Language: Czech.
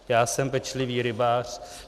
Já jsem pečlivý rybář.